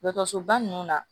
Dɔgɔtɔrɔsoba ninnu na